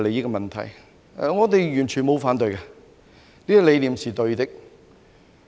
我們對此完全不反對，這個理念是對的。